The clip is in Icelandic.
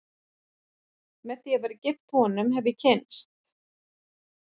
Með því að vera gift honum hef ég kynnst